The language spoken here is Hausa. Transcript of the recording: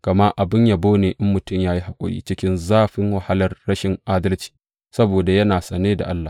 Gama abin yabo ne in mutum ya yi haƙuri cikin zafin wahalar rashin adalci saboda yana sane da Allah.